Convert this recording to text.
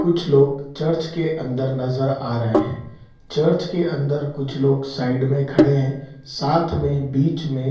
कुछ लोग चर्च के अंदर नज़र आ रहे हैं। चर्च के अंदर कुछ लोग साइड में खड़े हैं। साथ में बीच में --